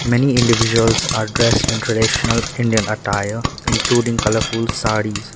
many individuals are dressed in traditional indian attire including colourful sarees.